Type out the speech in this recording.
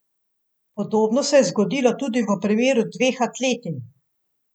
Podobno se je zgodilo tudi v primeru dveh atletinj.